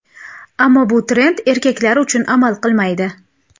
Ammo bu trend erkaklar uchun amal qilmaydi.